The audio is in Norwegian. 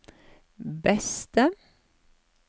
beste